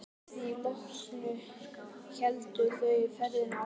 Að því loknu héldu þau ferðinni áfram.